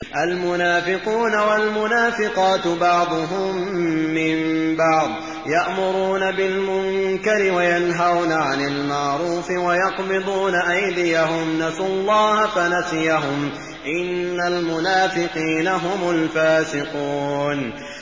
الْمُنَافِقُونَ وَالْمُنَافِقَاتُ بَعْضُهُم مِّن بَعْضٍ ۚ يَأْمُرُونَ بِالْمُنكَرِ وَيَنْهَوْنَ عَنِ الْمَعْرُوفِ وَيَقْبِضُونَ أَيْدِيَهُمْ ۚ نَسُوا اللَّهَ فَنَسِيَهُمْ ۗ إِنَّ الْمُنَافِقِينَ هُمُ الْفَاسِقُونَ